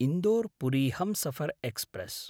इन्दोर्–पुरी Humsafar express